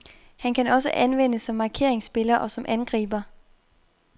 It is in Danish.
Han kan også anvendes som markeringsspiller og som angriber.